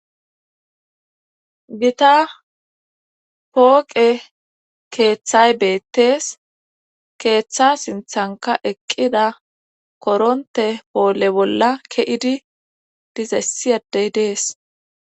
gita pooqe keeththay beettees. keeththa sinthanka eqqida koronte poole bolla ke'idi diza issi adey des.